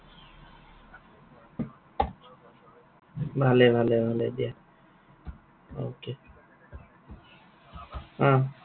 ভালেই, ভালেই, ভালেই দিয়া। okay অ